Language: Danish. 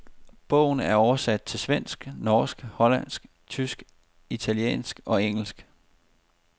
Bogen er oversat til svensk, norsk, hollandsk, tysk, italiensk og engelsk.